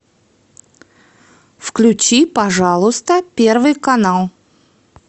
включи пожалуйста первый канал